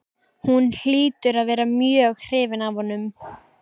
Hún hlýtur að vera mjög hrifin af honum.